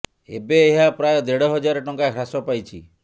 ଏବେ ଏହା ପ୍ରାୟ ଦେଢ ହଜାର ଟଙ୍କା ହ୍ରାସ ପାଇଛି